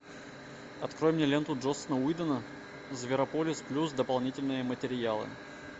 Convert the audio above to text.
открой мне ленту джосса уидона зверополис плюс дополнительные материалы